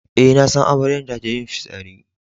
Eh, na san amaryan ta je yin fissari.